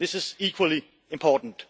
taxes. This is equally important.